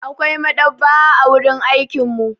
Akwai maɗaba'a a wurin aikin mu.